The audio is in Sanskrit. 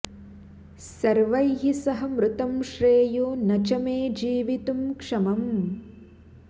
सर्वैः सह मृतं श्रेयो न च मे जीवितुं क्षमम्